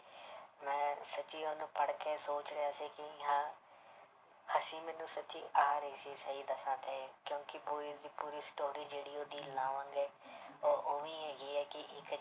ਮੈਂ ਸੱਚੀ ਉਹਨੂੰ ਪੜ੍ਹ ਕੇ ਸੋਚ ਰਿਹਾ ਸੀ ਕਿ ਹਾਂ ਹੱਸੀ ਮੈਨੂੰ ਸੱਚੀ ਆ ਰਹੀ ਸੀ ਸਹੀ ਦੱਸਾਂ ਤੇ ਕਿਉਂਕਿ ਪੂਰੀ ਦੀ ਪੂਰੀ story ਜਿਹੜੀ ਉਹਦੀ ਹੈ ਉਹ ਉਹ ਵੀ ਹੈਗੀ ਹੈ ਕਿ ਇੱਕ